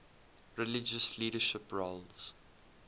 religious leadership roles